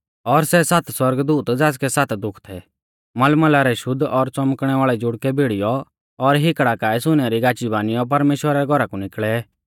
और सै सात सौरगदूत ज़ासकै सात दुःख थै मलमला रै शुद्ध और च़ौमकणै वाल़ै जुड़कै भिड़ीयौ और हिकड़ा काऐ सुनै री गाची बानियौ परमेश्‍वरा रै घौरा कु निकल़ै